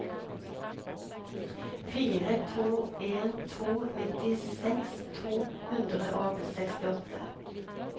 fire to en to nittiseks to hundre og sekstiåtte